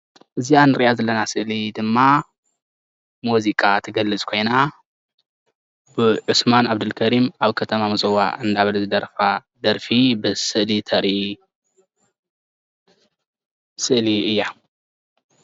እዛ እንሪኣ ዘለና ስእሊ ድማ ሙዚቃ እትገልፅ ኮይና ብዑስማን ዓብደል ከሪም ኣብ ከተማ ምፅዋዕ እንዳበለ ዝደርፋ ደርፊ በዚ ስእሊ ተርኢ ስእሊ እያ፡፡